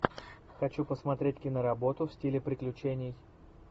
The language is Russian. хочу посмотреть киноработу в стиле приключений